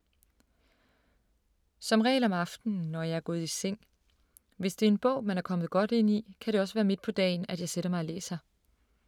Som regel om aftenen, når jeg er gået i seng. Hvis det er en bog, man er kommet godt ind i, kan det også være midt på dagen, at jeg sætter mig og læser.